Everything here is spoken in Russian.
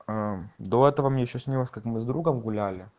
до этого мы ещё снилось как мы с другом гуляли